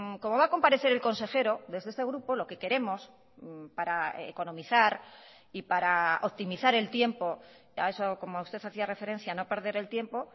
como va a comparecer el consejero desde este grupo lo que queremos para economizar y para optimizar el tiempo a eso como usted hacía referencia no perder el tiempo